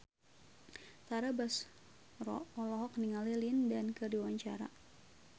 Tara Basro olohok ningali Lin Dan keur diwawancara